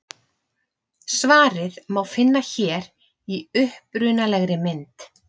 Svarið má finna hér í upprunalegri mynd.